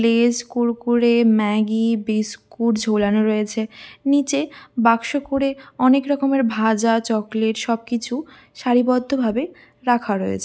Less Kurkure Maggi biscuit ঝোলানো রয়েছে । নিচে বাক্স করে অনেক রকমের ভাজা চকলেট সবকিছু সারিবদ্ধভাবে রাখা রয়েছ--